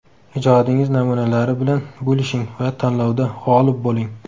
Ijodingiz namunalari bilan bo‘lishing va tanlovda g‘olib bo‘ling!